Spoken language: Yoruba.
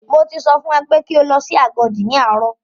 Mo ti sọ fún ẹ pé kí o lọ sí Agodi ní àárọ̀!